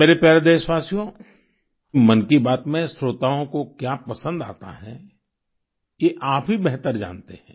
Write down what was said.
मेरे प्यारे देशवासियो मन की बात में श्रोताओं को क्या पसंद आता है ये आप ही बेहतर जानते हैं